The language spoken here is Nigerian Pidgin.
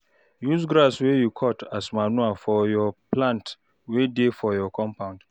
Use grass wey you cut as manure for your plants wey dey for your compound